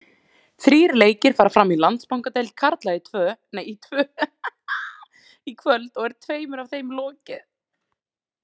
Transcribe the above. Þrír leikir fara fram í Landsbankadeild karla í kvöld og er tveimur af þeim lokið.